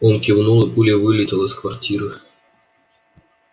он кивнул и пулей вылетел из квартиры